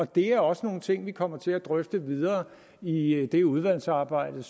det er også nogle ting vi kommer til at drøfte videre i i det udvalgsarbejde